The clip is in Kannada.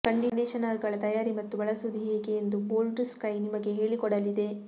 ಕಂಡೀಷನರ್ಗಳ ತಯಾರಿ ಮತ್ತು ಬಳಸುವುದು ಹೇಗೆ ಎಂದು ಬೋಲ್ಡ್ ಸ್ಕೈ ನಿಮಗೆ ಹೇಳಿಕೊಡಲಿದೆ